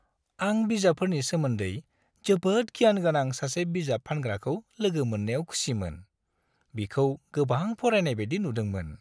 आं बिजाबफोरनि सोमोन्दै जोबोद गियान गोनां सासे बिजाब फानग्राखौ लोगो मोन्नायाव खुसिमोन। बिखौ गोबां फरायनाय बायदि नुदोंमोन।